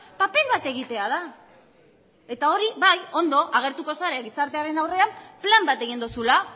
paper bat egitea da hori bai ondo agertuko zara gizartearen aurrean plan bat egin duzula